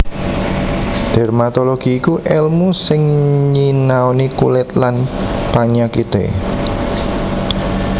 Dermatologi iku èlmu sing nyinaoni kulit lan panyakité